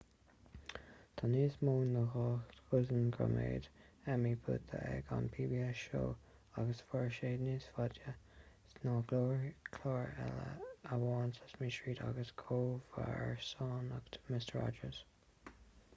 tá níos mó ná dhá dhosaen gradam emmy buaite ag an pbs show agus mhair sé níos faide ná gach clár eile ach amháin sesame street agus comharsanacht mister rogers